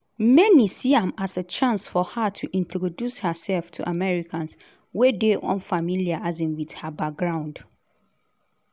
many see am as a chance for her to introduce hersef to americans wey dey unfamiliar um wit her background.